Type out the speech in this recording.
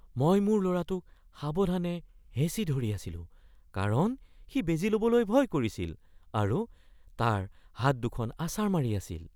মই মোৰ ল'ৰাটোক সাৱধানে হেঁচি ধৰি আছিলোঁ কাৰণ সি বেজী ল'বলৈ ভয় কৰিছিল আৰু তাৰ হাত দুখন আছাৰ মাৰি আছিল।